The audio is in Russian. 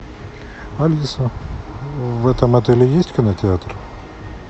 алиса в этом отеле есть кинотеатр